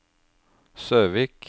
Søvik